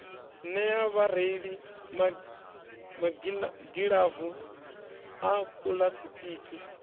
nea vhareili magilavu a puḽasitiki